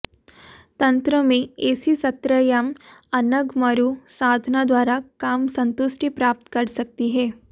तंत्र में ऎसी सत्रयां अनग मरू साधना द्वारा काम संतुष्टी प्राप्त कर सकती हैं